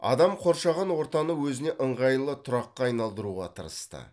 адам қоршаған ортаны өзіне ыңғайлы тұраққа айналдыруға тырысты